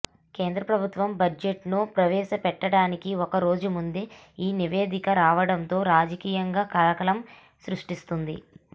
కేంద్రప్రభుత్వం బడ్జెట్ను ప్రవేశపెట్టడానికి ఒక్క రోజు ముందే ఈ నివేదిక రావడంతో రాజకీయంగా కలకలం సృష్టిస్తోంది